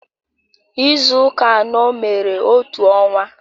Izu ụka anọ mere otu ọnwa